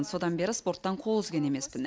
содан бері спорттан қол үзген емеспін